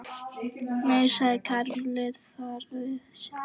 Nei, sagði Karen og lét þar við sitja.